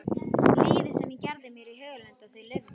Lífið sem ég gerði mér í hugarlund að þau lifðu.